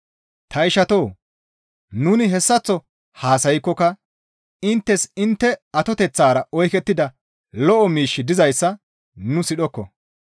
Ta ishatoo! Nuni hessaththo haasaykkoka inttes intte atoteththara oykettida lo7o miishshi dizayssa nu sidhokko.